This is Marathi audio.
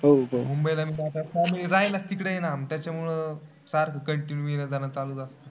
मुंबईला राहायला तिकडे आहे ना, त्याच्यामुळे सारखं continue येणं जाणं चालू असतं.